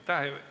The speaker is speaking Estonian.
Aitäh!